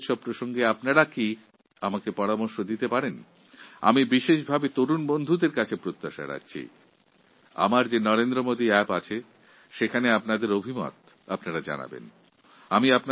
এই যুবউৎসব সম্পর্কে আপনারা আমাকে কিছু পরামর্শ দিতে পারেন যুবাবন্ধুদের কাছে আমার বিশেষ অনুরোধ এই যে নরেন্দ্র মোদী অ্যাপের মাধ্যমে আপনারা সরাসরি আপনাদের পরামর্শ পাঠান